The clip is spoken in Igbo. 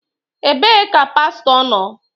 Ebee ka pastọ nọ?